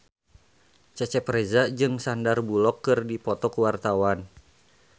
Cecep Reza jeung Sandar Bullock keur dipoto ku wartawan